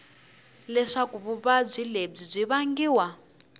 leswaku vuvabyi lebyi byi vangiwa